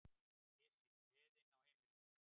Pési, gleðin á heimilinu.